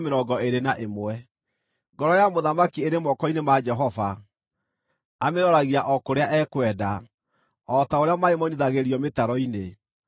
Ngoro ya mũthamaki ĩrĩ moko-inĩ ma Jehova; amĩroragia o kũrĩa ekwenda, o ta ũrĩa maaĩ moinithagĩrio mĩtaro-inĩ.